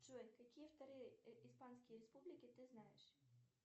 джой какие вторые испанские республики ты знаешь